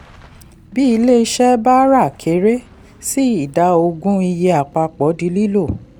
bí ilé iṣẹ́ bá ra kere sí ida ogún iye àpapọ̀ di lílò.